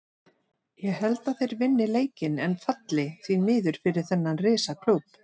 Ég held að þeir vinni leikinn en falli, því miður fyrir þennan risa klúbb.